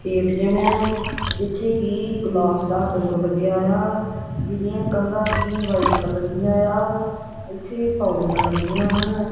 ATM ਆ ਜਿੱਥੇ ਕਿ ਗਲਾਸ ਦਾ ਡੋਰ ਲੱਗਿਆ ਆ ਜਿਹਦੀਆਂ ਕੰਧਾਂ ਵੀ ਵਾਈਟ ਕਲਰ ਦੀਆਂ ਆ ਇਥੇ ਪੌੜੀਆਂ ਲੱਗੀਆਂ ਹਨ।